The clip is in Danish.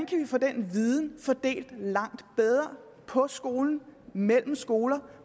kan få den viden fordelt langt bedre på skolen og mellem skoler